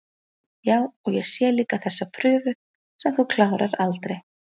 Já, og ég sé líka þessa prufu sem þú klárar aldrei